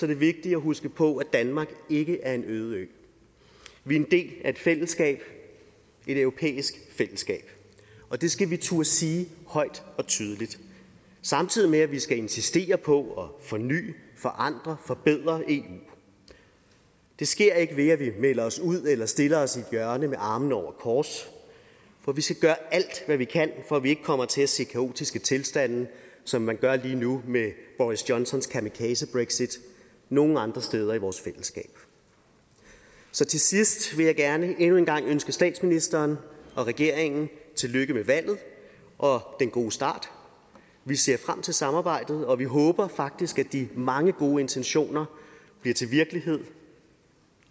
det vigtigt at huske på at danmark ikke er en øde ø vi er en del af et fællesskab et europæisk fællesskab og det skal vi turde sige højt og tydeligt samtidig med at vi skal insistere på at forny forandre forbedre eu det sker ikke ved at vi melder os ud eller stiller os i et hjørne med armene over kors for vi skal gøre alt hvad vi kan for at vi ikke kommer til at se kaotiske tilstande som man gør lige nu med boris johnsons kamikaze brexit nogen andre steder i vores fællesskab så til sidst vil jeg gerne endnu en gang ønske statsministeren og regeringen tillykke med valget og den gode start vi ser frem til samarbejdet og vi håber faktisk at de mange gode intentioner bliver til virkelighed